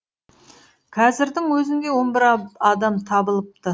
қазірдің өзінде он бір адам табылыпты